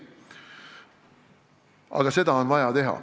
Aga neid samme on vaja astuda.